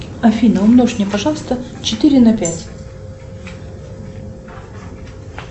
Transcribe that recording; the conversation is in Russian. афина умножь мне пожалуйста четыре на пять